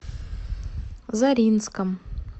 заринском